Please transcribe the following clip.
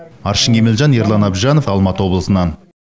аршын кемелжан ерлан әбжанов алматы облысынан